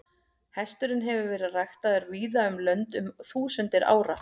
Hesturinn hefur verið ræktaður víða um lönd um þúsundir ára.